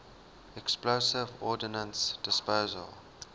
explosive ordnance disposal